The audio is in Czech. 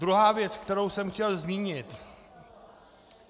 Druhá věc, kterou jsem chtěl zmínit.